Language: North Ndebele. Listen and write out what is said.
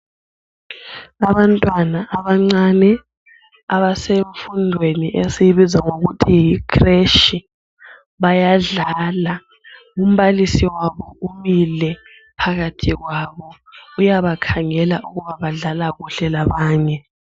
Abantwana abancane abasemfundweni esiyibiza ngokuthi yikreshi, bayadlala. Umbalisi wabo umile phakathi kwabo, uyabakhangela ukuba abadlala kuhle labanye.